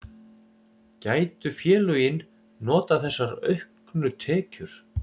Gætu félögin notað þessa auknu tekjur?